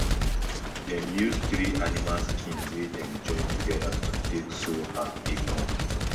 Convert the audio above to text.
dem use three animal skin wey dem join together to take sew her apron